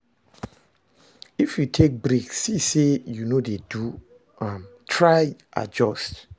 If you take break see say you no de do am try adjust